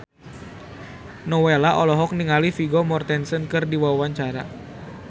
Nowela olohok ningali Vigo Mortensen keur diwawancara